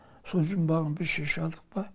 сол жұмбағын біз шеше алдық па